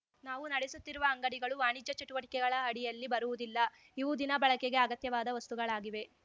ನಾವು ನಡೆಸುತ್ತಿರುವ ಅಂಗಡಿಗಳು ವಾಣಿಜ್ಯ ಚಟುವಟಿಕೆಗಳ ಅಡಿಯಲ್ಲಿ ಬರುವುದಿಲ್ಲ ಇವು ದಿನ ಬಳಕೆಗೆ ಅಗತ್ಯವಾದ ವಸ್ತುಗಳಾಗಿವೆ